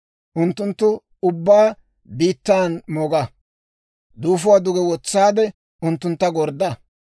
Unttunttu ubbaa biittan mooga; duufuwaa duge wotsaade, unttuntta gordda.